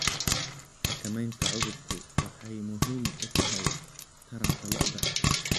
Xakamaynta cudurku waxay muhiim u tahay taranta lo'da.